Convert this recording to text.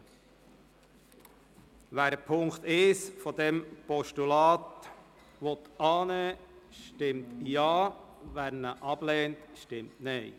Wer den Punkt 1 dieses Postulats annehmen will, stimmt Ja, wer diesen ablehnt, stimmt Nein.